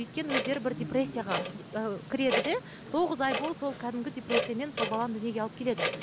өйткені өздері бір депрессияға ы кіреді де тоғыз ай бойы сол кәдімгі депрессиямен сол баланы дүниеге алып келеді